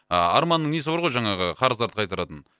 арманның несі бар ғой жаңағы қарыздарды қайтаратын